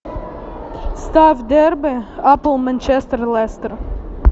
ставь дерби апл манчестер лестер